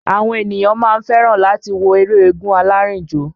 Àwọn ènìyàn máa ń fẹ́ràn láti wo eré eégún alárìnjó